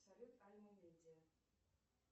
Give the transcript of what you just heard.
салют